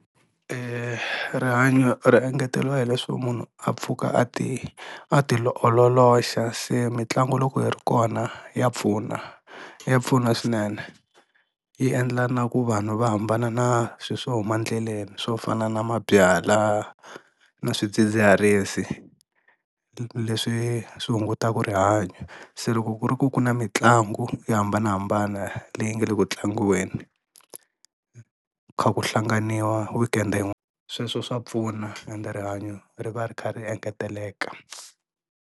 Rihanyo ri engeteriwa hi leswo munhu a pfuka a ti a ti ololoxa se mitlangu loko yi ri kona ya pfuna, ya pfuna swinene yi endla na ku vanhu va hambana na swi swo huma endleleni swo fana na mabyalwa na swidzidziharisi leswi swi hungutaka rihanyo, se loko ku ri ku ku na mitlangu yo hambanahambana leyi nga le ku tlangiweni kha ku hlanganiwa weekend sweswo swa pfuna ende rihanyoo ri va ri kha ri engeteleka.